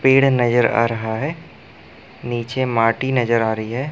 पेड़ नजर आ रहा है नीचे माटी नज़र आ रही है।